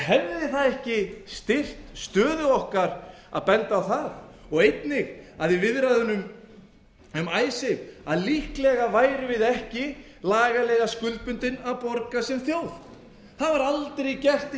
hefði það ekki styrkt stöðu okkar að benda á það og einnig að í viðræðunum um icesave að líklega værum við ekki lagalega skuldbundin að borga sem þjóð það hefur aldrei gerst í